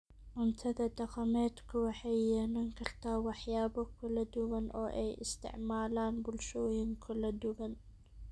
Cuntada dhaqameedku waxay yeelan kartaa waxyaabo kala duwan oo ay isticmaalaan bulshooyin kala duwan.